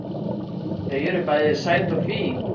Þau eru bæði sæt og fín